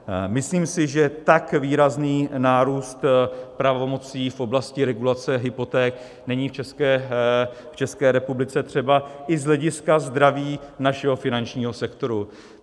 Myslím si, že tak výrazný nárůst pravomocí v oblasti regulace hypoték není v České republice třeba i z hlediska zdraví našeho finančního sektoru.